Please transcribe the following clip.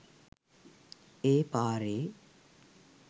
ඒ පාරේ